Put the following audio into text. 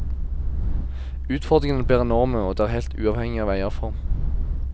Utfordringene blir enorme, og det er helt uavhengig av eierform.